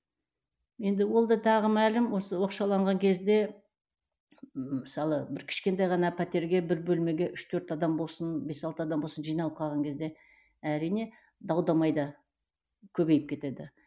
енді ол да тағы мәлім осы оқшауланған кезде мысалы бір кішкентай ғана пәтерге бір бөлмеге үш төрт адам болсын бес алты адам болсын жиналып қалған кезде әрине дау дамай да көбейіп кетеді